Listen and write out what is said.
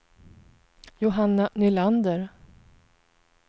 Johanna Nylander